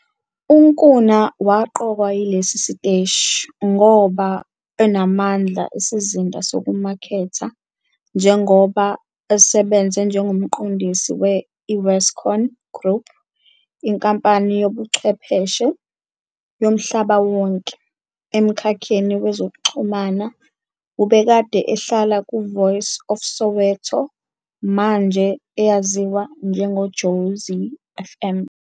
UNkuna waqokwa yilesi siteshi, ngoba unamandla isizinda sokumaketha, njengoba usebenze njengomqondisi we I-Westcon Group, inkampani yezobuchwepheshe yomhlaba wonke. Emkhakheni wezokuxhumana, ubekade ehlala ku-Voice of Soweto, manje eyaziwa ngeJozi FM.